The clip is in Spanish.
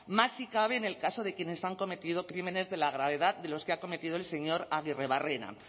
más si cabe en el caso de quienes han cometido crímenes de la gravedad de los que ha cometido el señor aguirrebarrena